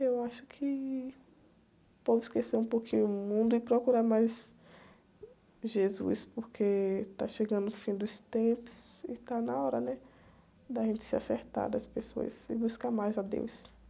Eu acho que pode esquecer um pouquinho o mundo e procurar mais Jesus, porque está chegando o fim dos tempos e está na hora, né? De a gente se acertar das pessoas e buscar mais a deus.